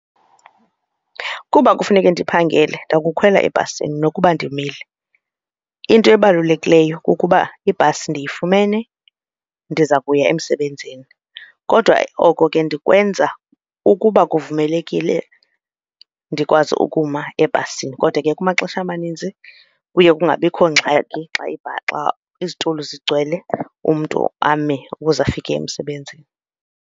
Kuba kufuneke ndiphangele, ndakukhwela ebhasini nokuba ndimile. Into ebalulekileyo kukuba ibhasi ndiyifumene ndiza kuya emsebenzini. Kodwa oko ke ndiyokwenza ukuba kuvumelekile ndikwazi ukuma ebhasini. Kodwa ke kumaxesha amaninzi kuye kungabikho ngxaki xa xa izitulo zigcwele umntu ame ukuze afike emsebenzini.